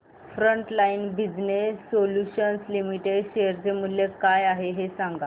frontline business solutions limited share चे मूल्य काय आहे हे सांगा